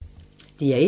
DR1